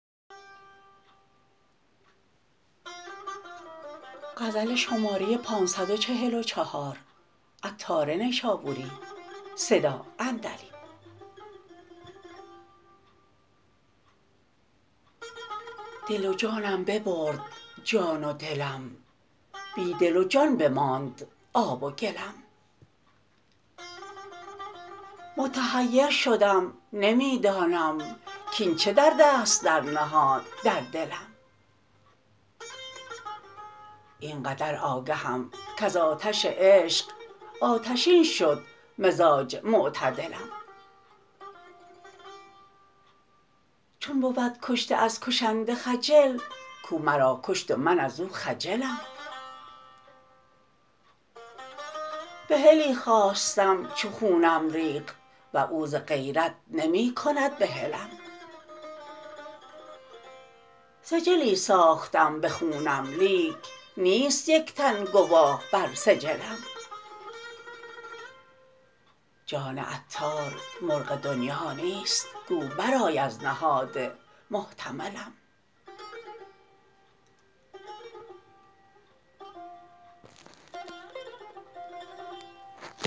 دل و جانم ببرد جان و دلم بی دل و جان بماند آب و گلم متحیر شدم نمی دانم کین چه درد است در نهاد دلم این قدر آگهم کز آتش عشق آتشین شد مزاج معتدلم چون بود کشته از کشنده خجل کو مرا کشت و من ازو خجلم بحلی خواستم چو خونم ریخت و او ز غیرت نمی کند بحلم سجلی ساختم به خونم لیک نیست یک تن گواه بر سجلم جان عطار مرغ دنیا نیست گو برآی از نهاد محتملم